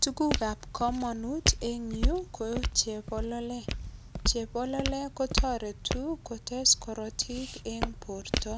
Tuguk ab kamanut en yu ko chebololet. Chebololet kotoretu kotes korotik en borto.